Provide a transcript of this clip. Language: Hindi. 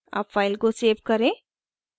अब file को सेव करें